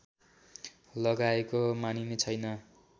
लगाएको मानिने छैन